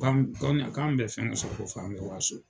K'an k'an bɛ fɛn sɔrɔ ka f'an bɛ waso.